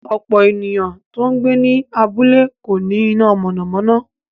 Ọ̀pọ̀ èèyàn tó ń gbé ní abúlé kò ní iná mọ̀nàmọ́ná